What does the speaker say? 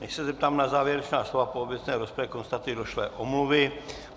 Než se zeptám na závěrečná slova k obecné rozpravě, konstatuji došlé omluvy.